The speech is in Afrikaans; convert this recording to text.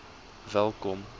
welkom